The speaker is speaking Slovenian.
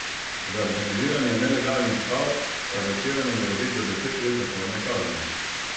Za organiziranje nelegalnih stav aretiranim grozi do deset let zaporne kazni.